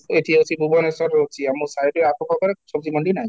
ଏଠି ଅଛି ଭୁବନେଶ୍ୱରରେ ଅଛି, ଆମ side ଆଖ ପାଖରେ ମଣ୍ଡି ନାହିଁ